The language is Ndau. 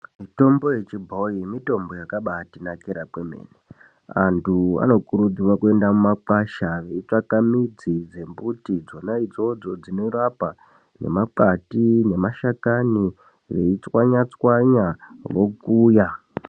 Mitombo yechibhoyi mitombo yakati nakira kwemene antu anokurudzirwa kuenda mumakwasha midzi dzemuti dzona idzodzo inorapa nemakwati nemashakani veitswanya tswanya vokuya.